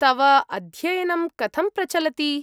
तव अध्ययनं कथं प्रचलति?